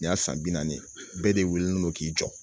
Nin y'a san bi naani ye bɛɛ de wililen don k'i jɔ